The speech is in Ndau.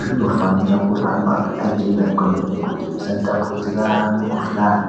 zvinofanira kugara zvakachena kwemene kuti zvisatapudzira mikhuhlani.